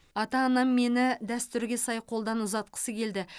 ата анам мені дәстүрге сай қолдан ұзатқысы келді